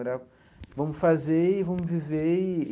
Era vamos fazer e vamos viver e.